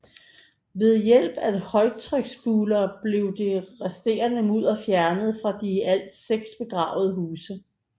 Ved hjælp af højtryksspulere blev det resterende mudder fjernet fra de i alt seks begravede huse